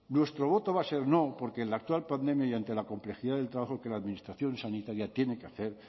nuestro voto va a ser no porque en la actual pandemia y ante la complejidad del trabajo que la administración sanitaria tiene que hacer